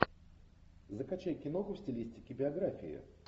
закачай киноху в стилистике биографии